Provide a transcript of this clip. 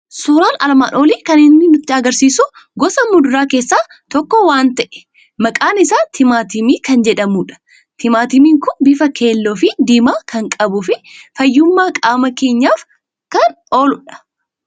Suuraan armaan olii kan inni nutti argisiisu gosa muduraa keessaa tokko waanta ta'e, maqaan isaa timaatimii kan jedhamudha. Timaatimiin kun bifa keelloo fi diimaa kan qabu, fayyummaa qaama keenyaaf kan ooludha.